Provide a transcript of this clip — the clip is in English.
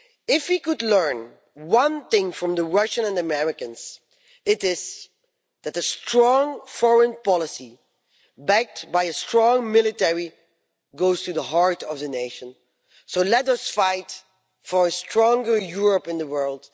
If we could learn one thing from the Russians and Americans, it is that a strong foreign policy backed by a strong military goes to the heart of a nation. So let us fight for a stronger Europe in the world.